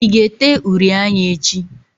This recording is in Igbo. I ga-ete uri anya echi?